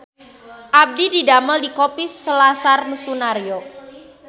Abdi didamel di Kopi Selasar Sunaryo